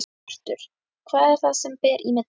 Hjörtur: Hvað er það sem að ber í milli?